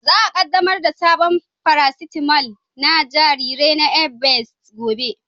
Za a kaddamar da sabon farasitamal na jarirai na Evans gobe.